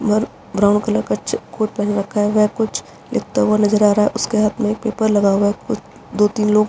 और brown colour का check coat पहना हुआ है कुछ लिखता हुआ नज़र आ रहा है और उसके हाथ में एक पेपर लिया हुआ है दो तीन लोग --